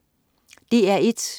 DR1: